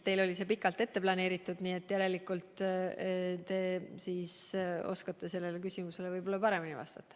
Teil oli see pikalt ette planeeritud, nii et järelikult teie oskate sellele küsimusele võib-olla paremini vastata.